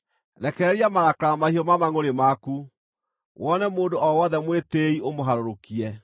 Rekereria marakara mahiũ ma mangʼũrĩ maku, wone mũndũ o wothe mwĩtĩĩi ũmũharũrũkie,